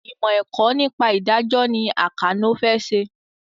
Ìmọ̀ ẹ̀kọ́ nípa ìdájọ́ ni Àkànó fẹ́ ṣe